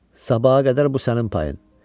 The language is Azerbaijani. Sabaha qədər bu sənin payın.